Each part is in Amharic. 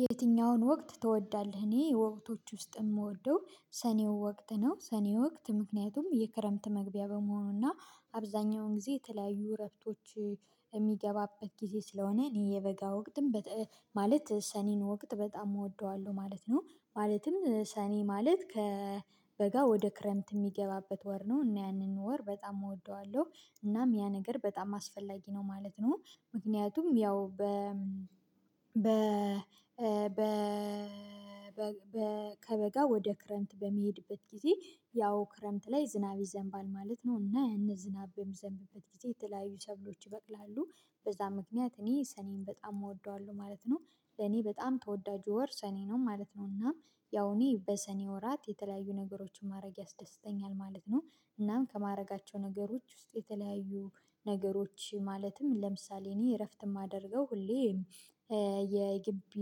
የትኛውን ወቅት ትወዳለህ? እኔ ወቅቶች ውስጥ የምወደው ሰኔው ወቅት ነው። ሰኔው ወቅት ምክንያቱም የክረምት መግቢያ በመሆኑና አብዛኛውን ጊዜ የተለያዩ ረፍቶች የሚገባበት ጊዜ ስለሆነ እኔ የበጋ ወቅትም ማለት ሰኔን ወቅት በጣም እወደዋለሁ ማለት ነው። ማለትም ሰኔ ማለት ከበጋ ወደ ክረምት የሚገባበት ወር ነው እና ያንን ወር በጣም እወደዋለሁ እናም ያ ነገር በጣም አስፈላጊ ነው ማለት ነው። ምክንያቱም ያው በ በ በ ከበጋ ወደ ክረምት በሚሄድበት ጊዜ ያው ክረምት ላይ ዝናብ ይዘንባል ማለት ነው እና ያን ዝናብ በምዘንብበት ጊዜ የተለያዩ ሰብሎች ይበቅላሉ በዛ ምክንያት እኔ ሰኔን በጣም እወደዋለሁ ማለት ነው። ለኔ በጣም ተወዳጁ ወር ሰኔ ነው ማለት ነው እና ያው እኔ በሰኔ ወራት የተለያዩ ነገሮችን ማድረግ ያስደስተኛል ማለት ነው። እናም ከማድረጋቸው ነገሮች ውስጥ የተለያዩ ነገሮች ማለትም ለምሳሌ እኔ እረፍት የማደርገው ሁሌ የጊቢ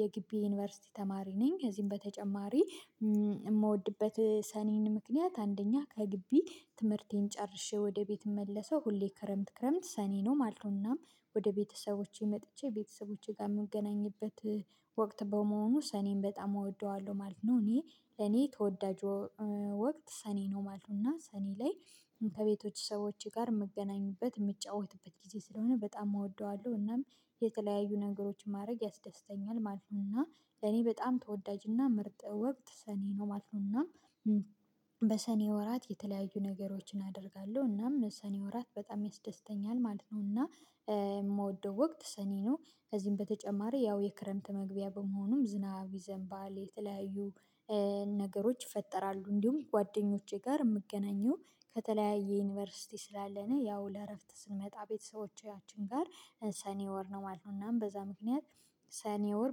የጊቢ ዩኒቨርሲቲ ተማሪ ነኝ። ከዚህም በተጨማሪ የምወድበት ሰኔን ምክንያት አንደኛ ከግቢ ትምህርቴን ጨርሼ ወደ ቤት ምመለሰው ሁሌ ክረምት ክረምት ሰኔ ነው ማለት ነው። እናም ወደ ቤተሰቦቼ መጥቼ ቤተሰቦቼ ጋር የምገናኝበት ወቅት በመሆኑ ሰኔን በጣም እወደዋለሁ ማለት ነው። እኔ ለኔ ተወዳጅ ወቅት ሰኔ ነው ማለት ነው። እና ሰኔ ላይ ከቤቶች ሰዎች ጋር የምገናኝበት የሚጫወትበት ጊዜ ስለሆነ በጣም እወደዋለሁ እናም የተለያዩ ነገሮችን ማድረግ ያስደስተኛል ማለት ነው እና እኔ በጣም ተወዳጅና ምርጥ ወቅት ሰኔ ነው ማለት ነው። እና በሰኔ ወራት የተለያዩ ነገሮችን አደርጋለሁ እናም ሰኔ ወራት በጣም ያስደስተኛል ማለት ነው። እና የምወደው ወቅት ሰኔ ነው። ከዚህም በተጨማሪ ያው የክረምት መግቢያ በመሆኑም ዝናብ ይዘንባል የተለያዩ ነገሮች ይፈጠራሉ እንዲሁም ጓደኞቼ ጋር የምገናኘው ከተለያየ ዩኒቨርሲቲ ስላለነ ያው ለእረፍት ስንመጣ ቤተሰቦቻችን ጋር ሰኔ ወር ነው ማለት ነው። እናም በዛ ምክንያት ሰኔ ወር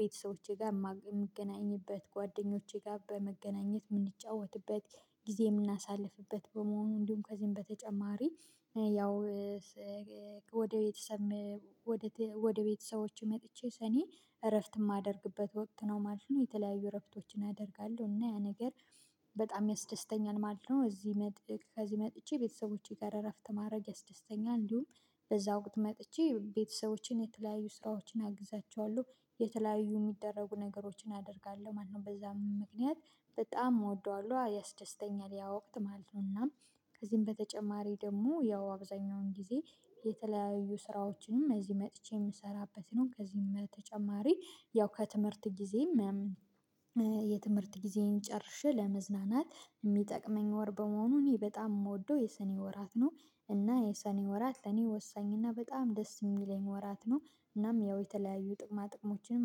ቤተሰቦቼ ጋር የምገናኝበት ጓደኞቼ ጋር በመገናኘት የምንጫወትበት ጊዜ የምናሳልፍበት በመሆኑ እንዲሁም ከዚህም በተጨማሪ ያው ወደ ቤተሰብ ወደ ቤተሰቦቼ መጥቼ ሰኔ እረፍት የማደርግበት ወቅት ነው ማለት ነው። የተለያዩ እረፍቶችን አደርጋለሁ እና ያ ነገር በጣም ያስደስተኛል ማለት ነው። እዚህ መጥቼ ከዚህ መጥቼ ቤተሰቦቼ ጋር እረፍት ማድረግ ያስደስተኛል እንዲሁም በዛ ወቅት መጥቼ ቤተሰቦችን የተለያዩ ስራዎችን አግዛቸዋለሁ የተለያዩ የሚደረጉ ነገሮችን አደርጋለሁ ማለት ነው። በዛም ምክንያት በጣም እወደዋለሁ ያስደስተኛል ያ ወቅት ማለት ነውና። ከዚህም በተጨማሪ ደግሞ ያው አብዛኛውን ጊዜ የተለያዩ ስራዎችንም እዚህ መጥቼ የምሰራበት ነው። ከዚህም በተጨማሪ ያው ከትምህርት ጊዜ የትምህርት ጊዜን ጨርሼ ለመዝናናት የሚጠቅመኝ ወር በመሆኑ እኔ በጣም የምወደው የሰኔ ወራት ነው። እና የሰኔ ወራት ለኔ ወሳኝ እና በጣም ደስ የሚለኝ ወራት ነው። እናም ያው የተለያዩ ጥቅማ ጥቅሞችንም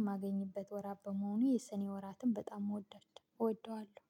የማገኝበት ወራት በመሆኑ የሰኔ ወራትን በጣም ወደዋለው።